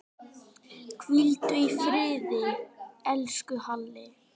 Hvíldu í friði, elsku Halli.